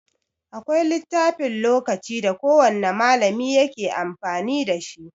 Akwai littafin lokaci da kowan malami yake amfani dashi.